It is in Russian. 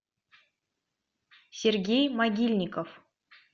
сергей могильников